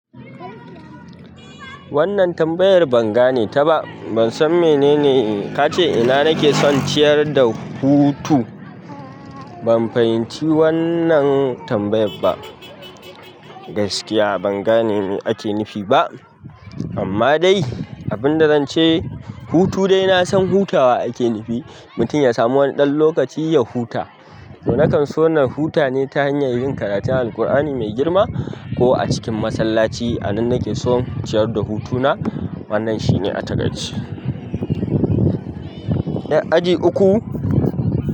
Wannan tambayar ban gane ta ba. Ban san mene ne kace ina nake son ciyar da hutu. Ban fahimci wannan tambayar ba. Gaskiya ban gane ake nufi ba. Amma dai, abin da zan ce, hutu dai na san hutawa ake nufi. Mutum ya samu wani ɗan lokaci ya huta. To na kan so na huta ne ta hanyar yin karatun Alqur'ani mai girma kuma a cikin masallaci. A nan nake son ciyar da hutuna. Wannan shi ne a takaice. 'Yar aji uku.